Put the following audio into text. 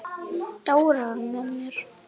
Dóri var með mér.